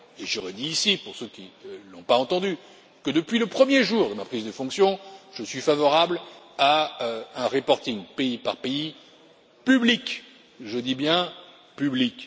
Je redis ici pour ceux qui ne l'ont pas entendu que depuis le premier jour de ma prise de fonctions, je suis favorable à un reporting pays par pays public je dis bien public.